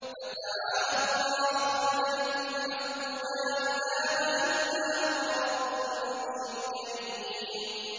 فَتَعَالَى اللَّهُ الْمَلِكُ الْحَقُّ ۖ لَا إِلَٰهَ إِلَّا هُوَ رَبُّ الْعَرْشِ الْكَرِيمِ